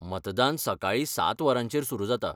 मतदान सकाळीं सात वरांचेर सुरू जाता.